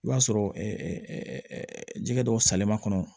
I b'a sɔrɔ ɛɛ jɛgɛ dɔw salen ma kɔnɔ